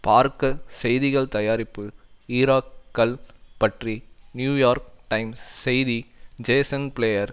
பார்க்க செய்திகள் தயாரிப்பு ஈராக் கள் பற்றி நியூயோர்க் டைம்ஸ் செய்தி ஜேசன் பிளேயர்